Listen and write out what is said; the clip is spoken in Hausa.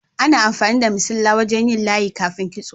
Ana amfani da missilla wajen yin layi kafin kitso.